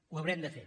ho haurem de fer